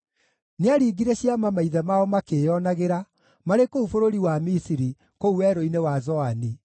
Nĩaringire ciama maithe mao makĩĩonagĩra marĩ kũu bũrũri wa Misiri, kũu werũ-inĩ wa Zoani.